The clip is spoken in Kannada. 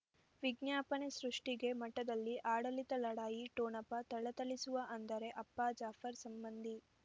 ವಿಜ್ಞಾಪನೆ ಸೃಷ್ಟಿಗೆ ಮಠದಲ್ಲಿ ಆಡಳಿತ ಲಢಾಯಿ ಠೊಣಪ ಥಳಥಳಿಸುವ ಅಂದರೆ ಅಪ್ಪ ಜಾಫರ್ ಸಂಬಂಧಿ